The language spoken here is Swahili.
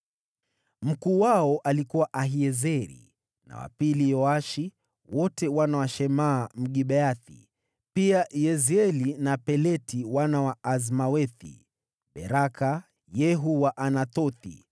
Mkuu wao alikuwa Ahiezeri, na wa pili Yoashi, wote wana wa Shemaa Mgibeathi; pia Yezieli na Peleti wana wa Azmawethi; Beraka, Yehu Mwanathothi,